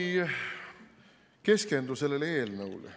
Ma ei keskendu sellele eelnõule.